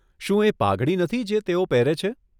શું એ પાઘડી નથી, જે તેઓ પહેરે છે?